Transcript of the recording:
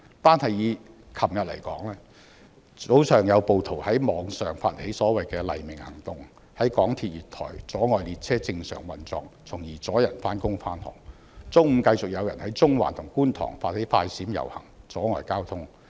單是昨天，早上便有暴徒在網上發起所謂的"黎明行動"，在港鐵月台阻礙列車正常運作，從而阻礙市民上班、上學；中午繼續有人在中環和觀塘發起"快閃"遊行，阻礙交通。